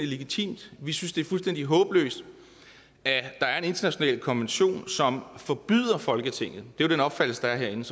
legitimt vi synes det er fuldstændig håbløst at der er en international konvention som forbyder folketinget det er jo den opfattelse der er herinde